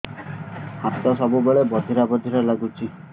ହାତ ସବୁବେଳେ ବଧିରା ବଧିରା ଲାଗୁଚି